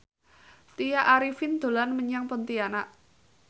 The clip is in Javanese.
Tya Arifin dolan menyang Pontianak